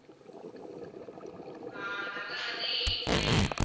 ஆஹ் number வந்து eight nine